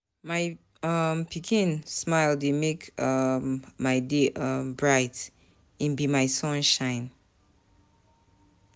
My um pikin smile dey make um my day um bright, im be my sunshine.